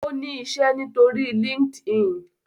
O ni iṣẹ nitori Linkedin